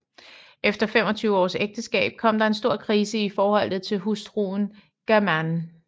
Efter femogtyve års ægteskab kom der en stor krise i forholdet til hustruen Germaine